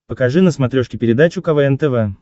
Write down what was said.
покажи на смотрешке передачу квн тв